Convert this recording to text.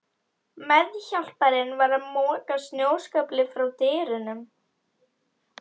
Meðhjálparinn var að moka snjóskafli frá dyrunum.